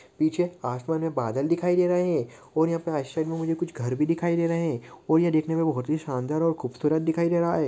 पीछे आसमान में बादल दिखाई दे रहे है और यहाँ राइट साइड में मुझे घर भी दिखाई दे रहे हैं और यह देखने में बहुत शानदार और खूबसूरत दिखाई दे रहा है।